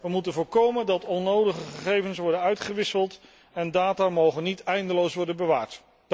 Wij moeten voorkomen dat onnodige gegevens worden uitgewisseld en data mogen niet eindeloos worden bewaard.